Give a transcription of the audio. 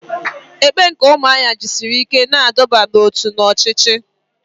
Ekpe nke umuahia jisiri ike na iduba n'otu na ochichi.